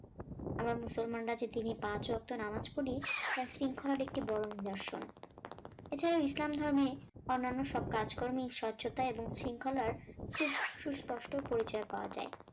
আমরা মুসলমানরা যে দিনে পাঁচ রপ্ত নামাজ পড়ি তা শৃঙ্খলার একটি বড় নিদর্শন এছাড়া ইসলাম ধর্মে অন্যান্য সব কাজকর্মে স্বচ্ছতা এবং শৃঙ্খলার সুষ সুস্পষ্ট পরিচয় পাওয়া যায়